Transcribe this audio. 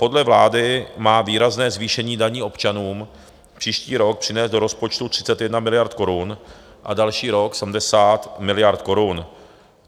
Podle vlády má výrazné zvýšení daní občanům příští rok přinést do rozpočtu 31 miliard korun a další rok 70 miliard korun.